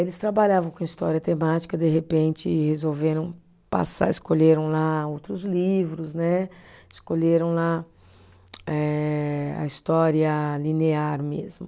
Eles trabalhavam com história temática, de repente, resolveram passar, escolheram lá outros livros né, escolheram lá eh a história linear mesmo.